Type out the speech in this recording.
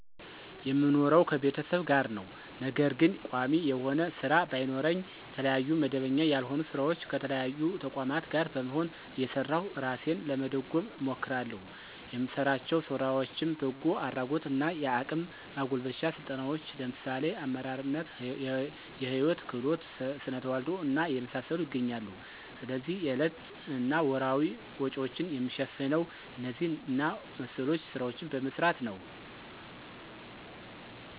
የምኖረው ከቤተሰብ ጋር ነው። ነገር ግን ቋሚ የሆነ ስራ ባይኖረኝ የተለያዩ መደበኛ ያልሆኑ ስራዎች ከተለያዩ ተቋማት ጋር በመሆን እየሰራሁ እራሴን ለመደጎም እሞክራለሁ። የምሰራቸው ስራዎችም በጎ አድራጎት እና የአቅም ማጎልበቻ ስልጠናዎችን ለምሳሌ አመራርነት፣ የህይወት ክህሎት፣ ስነተዋልዶ እና የመሳሰሉት ይገኛሉ። ስለዚህ የዕለት እና ወርሀዊ ወጭዎችን የምሸፍነው እነዚህ እና መሰሎች ስራዎችን በመስራት ነው።